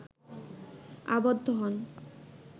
আবদ্ধ হন